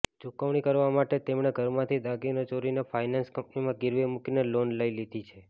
ચૂકવણી કરવા માટે તેણે ઘરમાંથી દાગીના ચોરીને ફાંઇનાન્સ કંપનીમાં ગીરવે મુકીને લોન લઈ લીધી છે